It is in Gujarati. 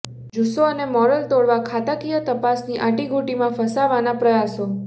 જુસ્સો અને મોરલ તોડવા ખાતાકીય તપાસની આંટી ઘુંટીમાં ફસાવાના પ્રયાસો